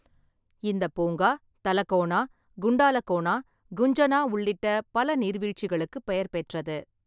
இந்தப் பூங்கா தலகோனா, குண்டாலகோனா, குஞ்சனா உள்ளிட்ட பல நீர்வீழ்ச்சிகளுக்குப் பெயர் பெற்றது.